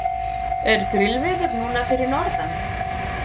er grillveður núna fyrir norðan